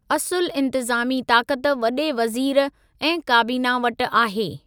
असुलु इन्तिज़ामी ताक़त वॾे वज़ीर ऐं काबीना वटि आहे।